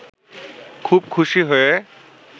খুব খুশি হয়ে